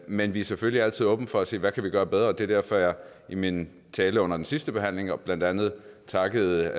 men vi er selvfølgelig altid åbne for at se på hvad vi kan gøre bedre og det er derfor jeg i min tale under den sidste behandling jo blandt andet takkede